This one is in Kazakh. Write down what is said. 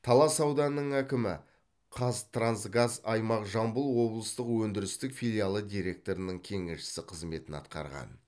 талас ауданының әкімі қазтрансгаз аймақ жамбыл облыстық өндірістік филиалы директорының кеңесшісі қызметін атқарған